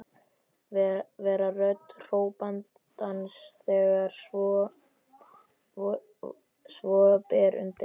Vera rödd hrópandans þegar svo ber undir.